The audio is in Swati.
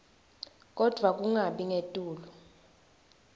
kodvwa kungabi ngetulu